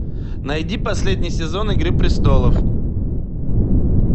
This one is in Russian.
найди последний сезон игры престолов